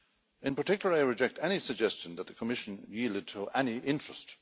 In particular, I reject any suggestion that the Commission yielded to any interest.